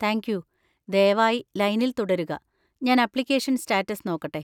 Thank you, ദയവായി ലൈനിൽ തുടരുക, ഞാൻ അപ്ലിക്കേഷൻ സ്റ്റാറ്റസ് നോക്കട്ടെ.